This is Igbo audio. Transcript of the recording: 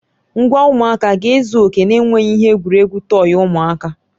Ngwa ụmụaka a ga-ezu oke na-enweghị ihe egwuregwu tọyị ụmụaka?